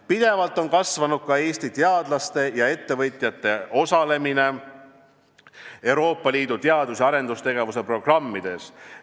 Pidevalt on kasvanud Eesti teadlaste ja ettevõtjate osalemine Euroopa Liidu teadus- ja arendustegevuse programmides.